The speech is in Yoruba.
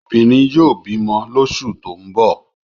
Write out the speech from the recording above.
Obìnrin yóò bímọ lóṣù tó ń bọ̀.